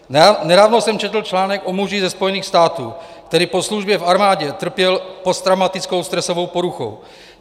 Nedávno jsem četl článek o muži ze Spojených států, který po službě v armádě trpěl posttraumatickou stresovou poruchou.